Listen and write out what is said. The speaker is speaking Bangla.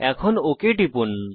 এখন ওক টিপুন